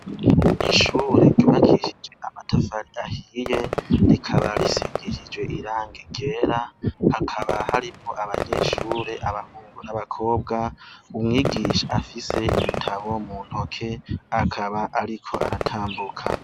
Ishure ryubakishije amatafari ahiye rikaba risigishijwe irangi ryera hakaba harimwo abanyeshuri abahungu n' abakobwa umwigisha afise ibitabo mu ntoke akaba ariko aratambuka.